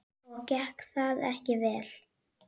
Og gekk það ekki vel.